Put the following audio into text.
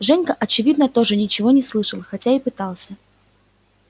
женька очевидно тоже ничего не слышал хотя и пытался